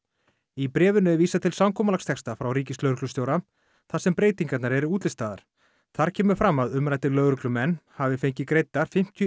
í bréfinu er vísað til samkomulagstexta frá ríkislögreglustjóra þar sem breytingarnar eru útlistaðar þar kemur fram að umræddir lögreglumenn hafi fengið greiddar fimmtíu